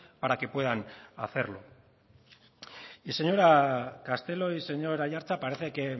para que puedan hacerlo y señora castelo y señor aiartza parece que